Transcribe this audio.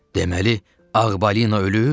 Deməli ağ balina ölüb?